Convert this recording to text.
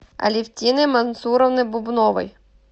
алевтиной мансуровной бубновой